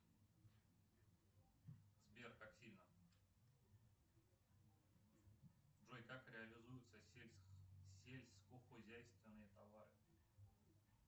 сбер как сильно джой как реализуются сельскохозяйственные товары